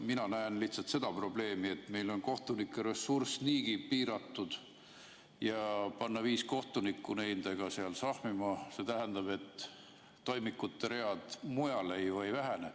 Mina näen lihtsalt seda probleemi, et meil on kohtunike ressurss niigi piiratud ja panna viis kohtunikku nendega seal sahmima, see tähendab, et toimikute read mujal ju ei vähene.